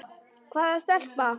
Hvaða stelpa?